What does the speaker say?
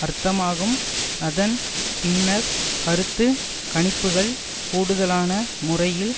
அர்த்தமாகும் அதன் பின்னர் கருத்து கணிப்புக்கள் கூடுதலான முறையில்